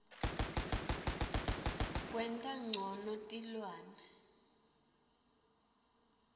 kwenta ncono tilwane